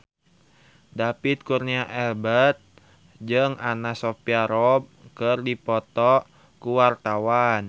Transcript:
David Kurnia Albert jeung Anna Sophia Robb keur dipoto ku wartawan